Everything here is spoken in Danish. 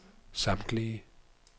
samtlige